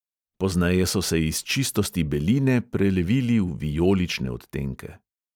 Pozneje so se iz čistosti beline prelevili v vijolične odtenke.